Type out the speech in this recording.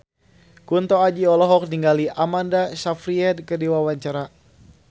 Kunto Aji olohok ningali Amanda Sayfried keur diwawancara